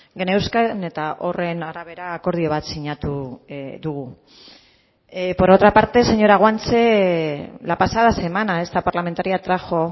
geneuzkan eta horren arabera akordio bat sinatu dugu por otra parte señora guanche la pasada semana esta parlamentaria trajo